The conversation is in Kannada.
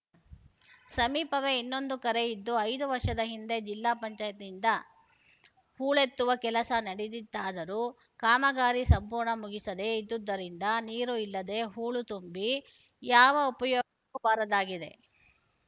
ಸಮೀಪವೇ ಇನ್ನೊಂದು ಕೆರೆಯಿದ್ದು ಐದು ವರ್ಷದ ಹಿಂದೆ ಜಿಲ್ಲಾ ಪಂಚಾಯತ್ ನಿಂದ ಹೂಳೆತ್ತುವ ಕೆಲಸ ನಡೆದಿತ್ತಾದರೂ ಕಾಮಗಾರಿ ಸಂಪೂರ್ಣ ಮುಗಿಸದೇ ಇದ್ದುದರಿಂದ ನೀರು ಇಲ್ಲದೇ ಹೂಳು ತುಂಬಿ ಯಾವ ಉಪಯೋಗ ಬಾರದಾಗಿದೆ